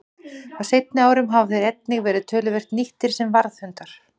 Á seinni árum hafa þeir einnig verið töluvert nýttir sem varðhundar.